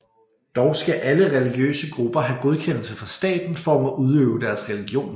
Dog skal alle religiøse grupper have godkendelse fra staten for at må udøve deres religion